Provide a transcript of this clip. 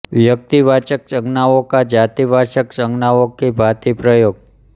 व्यक्तिवाचक संज्ञाओं का जातिवाचक संज्ञाओं की भाँति प्रयोग